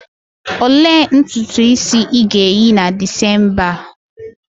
Olee ntutu isi ị ga-eyi na December a?